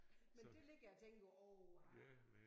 Men det ligger jeg og tænker uha